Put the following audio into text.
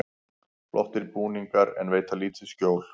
Flottir búningar en veita lítið skjól